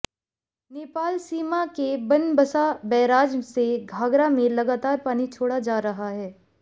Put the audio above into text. नेपाल सीमा के बनबसा बैराज से घाघरा में लगातार पानी छोड़ा जा रहा है